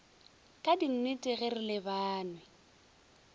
ka dinnete ge re lebanwe